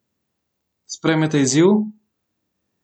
Sprejmete izziv?